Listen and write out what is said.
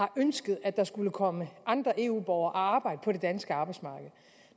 ønsket at der skulle komme andre eu borgere og arbejde på det danske arbejdsmarked